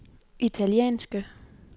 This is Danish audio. italienske